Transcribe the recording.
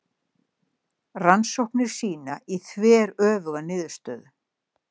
Rannsóknir sýna því þveröfuga niðurstöðu.